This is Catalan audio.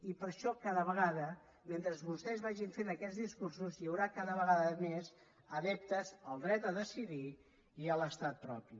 i per això cada vegada mentre vostès vagin fent aquests discursos hi haurà cada vegada més adeptes al dret a decidir i a l’estat propi